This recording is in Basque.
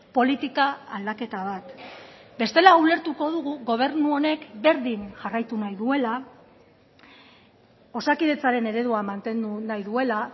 politika aldaketa bat bestela ulertuko dugu gobernu honek berdin jarraitu nahi duela osakidetzaren eredua mantendu nahi duela